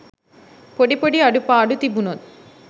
පොඩි පොඩි අඩුපාඩු තිබුණොත්